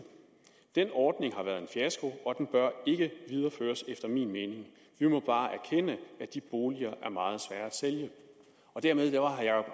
den ordning har været en fiasko og den bør ikke videreføres efter min mening vi må bare erkende at de boliger er meget svære at sælge … dermed var herre